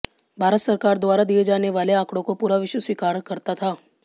भारत सरकार द्वारा दिए जाने वाले आंकड़ों को पूरा विश्व स्वीकार करता था